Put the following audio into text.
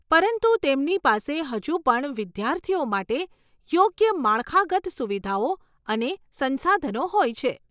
પરંતુ તેમની પાસે હજુ પણ વિદ્યાર્થીઓ માટે યોગ્ય માળખાગત સુવિધાઓ અને સંસાધનો હોય છે.